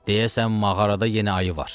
Deyəsən mağarada yeni ayı var.